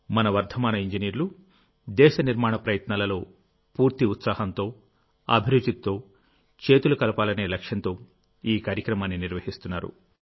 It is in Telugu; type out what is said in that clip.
మన వర్ధమాన ఇంజనీర్లు దేశ నిర్మాణ ప్రయత్నాలలో పూర్తి ఉత్సాహంతోఅభిరుచితో చేతులు కలపాలనే లక్ష్యంతో ఈ కార్యక్రమాన్ని నిర్వహిస్తున్నారు